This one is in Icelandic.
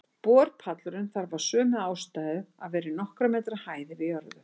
Borpallurinn þarf af sömu ástæðu að vera í nokkurra metra hæð yfir jörðu.